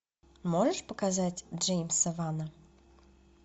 можешь показать джеймса вана